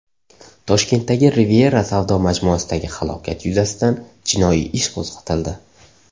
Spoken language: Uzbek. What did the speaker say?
Toshkentdagi Riviera savdo majmuasidagi halokat yuzasidan jinoiy ish qo‘zg‘atildi.